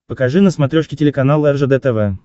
покажи на смотрешке телеканал ржд тв